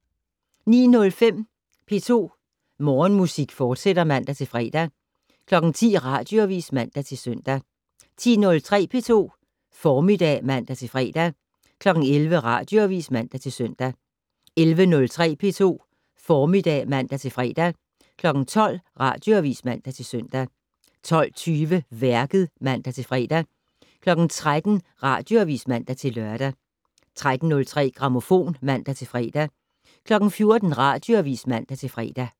09:05: P2 Morgenmusik, fortsat (man-fre) 10:00: Radioavis (man-søn) 10:03: P2 Formiddag (man-fre) 11:00: Radioavis (man-søn) 11:03: P2 Formiddag (man-fre) 12:00: Radioavis (man-søn) 12:20: Værket (man-fre) 13:00: Radioavis (man-lør) 13:03: Grammofon (man-fre) 14:00: Radioavis (man-fre)